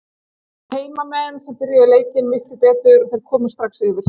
Það voru heimamenn sem byrjuðu leikinn miklu betur og þeir komust strax yfir.